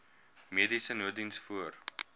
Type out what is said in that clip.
mediese nooddiens voor